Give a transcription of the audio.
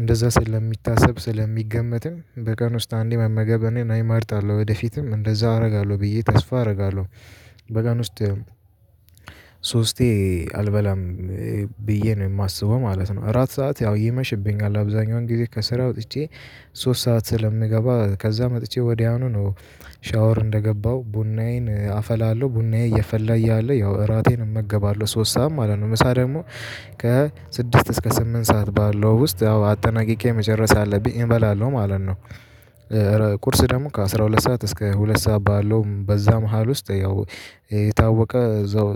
እንደዛ ስለሚታሰብ ስለሚገመትም በቀን ውስጥ አንዴ መመገብ እኔ እመርጣለሁ ወደፊትም እንደዛ አደርጋለሁ ብዬ ተስፋ አደርጋለሁ። በቀን ውስጥ ሶስቴ አልበላም ብዬ ነው የማስበው ማለት ነው። እራት ሰዓት ያው ይመሽብኛል አብዛኛውን ጊዜ ከስራ ወጥቼ ሶስት ሰዓት ስለምገባ ከዛ መጥቼ ወዲያውኑ ነው። ሻወር እንደገባሁ ቡናዬን አፈላለሁ ቡናዬ እየፈላ እያለ ያው እራቴን እመገባለሁ ሶስት ሰዓት ማለት ነው። ምሳ ደግሞ ከስድስት እስከ ስምንት ሰዓት ባለው ውስጥ ያው አጠናቅቄ መጨረስ አለብኝ እበላለሁ ማለት ነው። ቁርስ ደግሞ ከአሥራ ሁለት ሰዓት እስከ ሁለት ሰዓት ባለው በዛ መሃል ውስጥ ያው የታወቀ እዛው